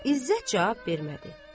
İzzət cavab vermədi.